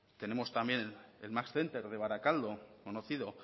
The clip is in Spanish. tenemos también el max center de barakaldo conocido